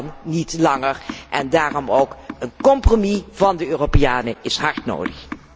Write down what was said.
Het kan niet langer en daarom is een compromis van de Europeanen hard nodig.